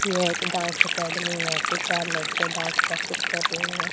यह एक dance academy यहां पे चार लड़कियां डांस प्रैक्टिस कर रही हैं।